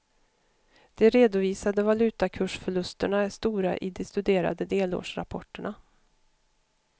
De redovisade valutakursförlusterna är stora i de studerade delårsrapporterna.